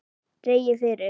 Dregið fyrir.